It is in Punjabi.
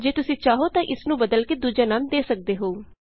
ਜੇ ਤੁਸੀਂ ਚਾਹੋ ਤਾਂ ਬਦਲ ਕੇ ਇਸ ਨੂੰ ਦੂਜਾ ਨਾਮ ਦੇ ਸਕਦੇ ਹੋ